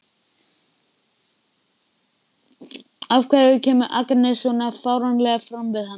Af hverju kemur Agnes svona fáránlega fram við hann?